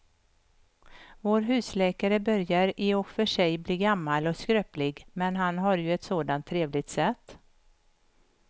Vår husläkare börjar i och för sig bli gammal och skröplig, men han har ju ett sådant trevligt sätt!